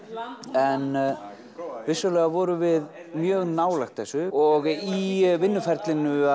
en vissulega vorum við mjög nálægt þessu og í vinnuferlinu